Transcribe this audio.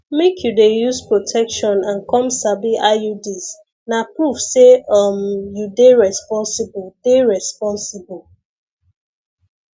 make you dey use protection and come sabi iuds na proof say um you dey responsible dey responsible